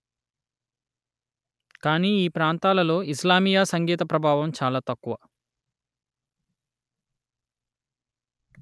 కానీ ఈ ప్రాంతాలలో ఇస్లామీయ సంగీత ప్రభావం చాలా తక్కువ